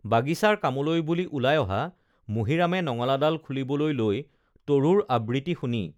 বাগিচাৰ কামলৈ বুলি ওলাই অহা মুহিৰামে নঙলাডাল খুলিবলৈ লৈ তৰুৰ আবৃতি শুনি